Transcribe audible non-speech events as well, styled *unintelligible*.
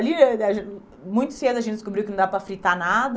Ali, *unintelligible* muito cedo, a gente descobriu que não dava para fritar nada.